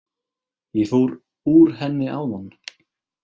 Ég fór úr henni áðan.